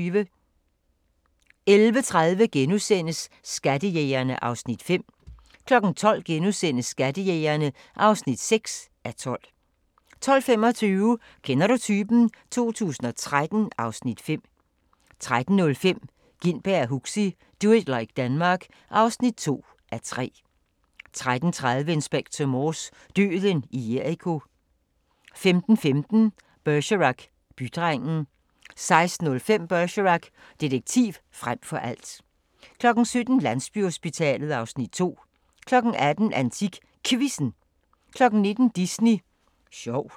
11:30: Skattejægerne (5:12)* 12:00: Skattejægerne (6:12)* 12:25: Kender du typen? 2013 (Afs. 5) 13:05: Gintberg og Huxi – Do it like Denmark (2:3) 13:30: Inspector Morse: Døden i Jericho 15:15: Bergerac: Bydrengen 16:05: Bergerac: Detektiv frem for alt 17:00: Landsbyhospitalet (Afs. 2) 18:00: AntikQuizzen 19:00: Disney sjov